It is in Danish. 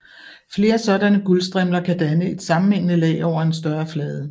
Flere sådanne guldstrimler kan danne et sammenhængende lag over en større flade